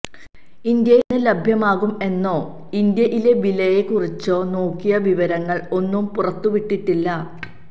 ഇന്ത്യയില് എന്ന് ലഭ്യമാകും എന്നോ ഇന്ത്യയിലെ വിലയെ കുറിച്ചോ നോക്കിയ വിവരങ്ങള് ഒന്നും പുറത്തുവിട്ടിട്ടില്ല